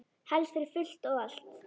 Helst fyrir fullt og allt.